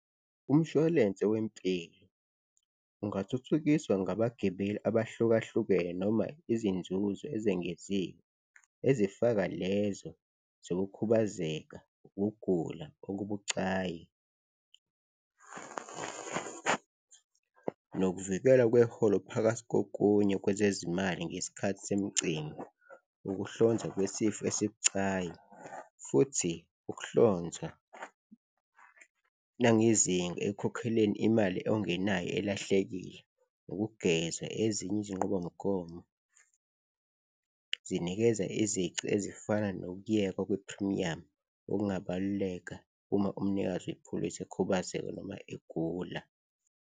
Umshwalense wempilo ungathuthukiswa ngabagibeli abahlukahlukene noma izinzuzo ezengeziwe ezifaka lezo zokukhubazeka, ukugula okubucayi nokuvikela kweholo phakathi kokunye kwezezimali ngesikhathi semicimbi, ukuhlonza kwesifo esibucayi futhi ukuhlonza nangezinga ekukhokhelweni imali ongenayo elahlekile, ukugeza ezinye izinqubomgomo zinikeza izici ezifana nokuyekwa kwephrimiyamu, okungabaluleka uma umnikazi wepholisi ekhubazeka noma egula.